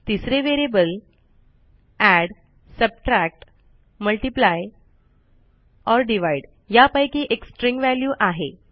तिसरे व्हेरिएबल ओर यापैकी एक स्ट्रिंग वॅल्यू आहे